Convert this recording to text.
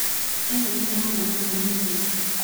Ĩno nĩ ya mwana mũnini.